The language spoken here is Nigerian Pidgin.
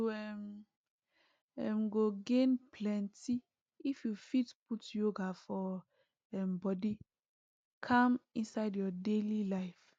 you um um go gain plenty if you fit put yoga for um body calm inside your daily life